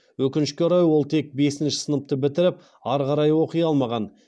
өкінішке орай ол тек бесінші сыныпты бітіріп ары қарай оқи алмаған